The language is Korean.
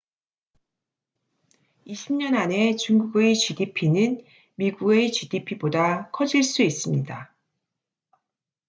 20년 안에 중국의 gdp는 미국의 gdp보다 커질 수 있습니다